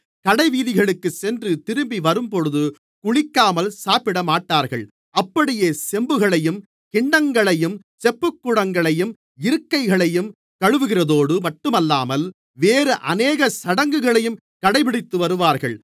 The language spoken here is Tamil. கடைவீதிகளுக்குச் சென்று திரும்பி வரும்போதும் குளிக்காமல் சாப்பிடமாட்டார்கள் அப்படியே செம்புகளையும் கிண்ணங்களையும் செப்புக்குடங்களையும் இருக்கைகளையும் கழுவுகிறதோடு மட்டுமல்லாமல் வேறு அநேக சடங்குகளையும் கடைபிடித்துவருவார்கள்